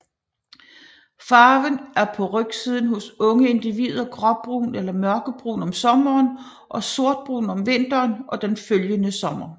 Farven er på rygsiden hos unge individer gråbrun eller mørkebrun om sommeren og sortbrun om vinteren og den følgende sommer